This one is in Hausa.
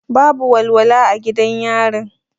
Babu walwala a gidan yarin.